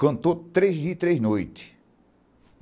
Cantou três dias e três noites.